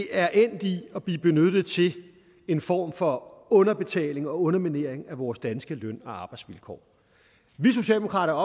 er endt i at blive benyttet til en form for underbetaling og underminering af vores danske løn og arbejdsvilkår vi socialdemokrater